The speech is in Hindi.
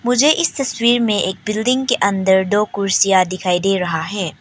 मुझे इस तस्वीर में एक बिल्डिंग के अंदर दो कुर्सियां दिखाई दे रहा है।